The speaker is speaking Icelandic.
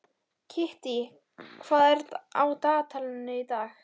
Kittý, hvað er á dagatalinu í dag?